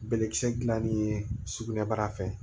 Bɛlɛkisɛ dilanni ye sugunɛbara fɛ